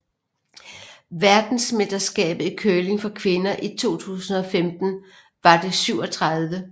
Verdensmesterskabet i curling for kvinder 2015 var det 37